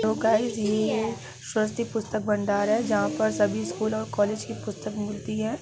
Hello guys ये सरस्वती पुस्तक भंडार है जहां पर सभी स्कूल और कॉलेज की पुस्तक मिलती है।